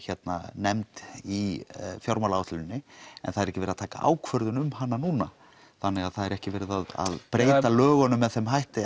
nefnd í fjármálaáætluninni en það er ekki verið að taka ákvörðun um hana núna þannig það er ekki verið að breyta lögunum með þeim hætti